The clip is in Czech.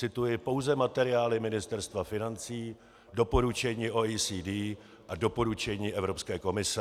Cituji pouze materiály Ministerstva financí, doporučení OECD a doporučení Evropské komise.